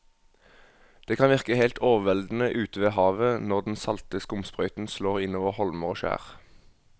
Det kan virke helt overveldende ute ved havet når den salte skumsprøyten slår innover holmer og skjær.